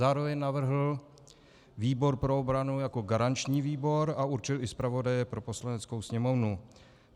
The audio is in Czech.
Zároveň navrhl výbor pro obranu jako garanční výbor a určil i zpravodaje pro Poslaneckou sněmovnu.